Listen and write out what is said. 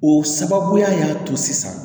O sababuya y'a to sisan